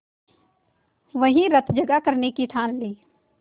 वहीं रतजगा करने की ठान ली